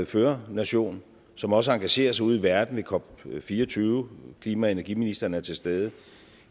førernation som også engagerer sig ude i verden ved cop24 klima og energiministeren er til stede